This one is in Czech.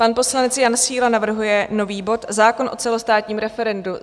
Pan poslanec Jan Síla navrhuje nový bod Zákon o celostátním referendu.